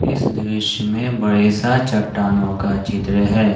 इस दृश्य में बड़े सा चट्टानों का चित्र है।